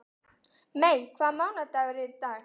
Mey, hvaða mánaðardagur er í dag?